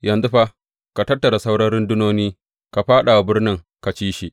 Yanzu fa ka tattara saura rundunoni ka fāɗa wa birnin ka ci shi.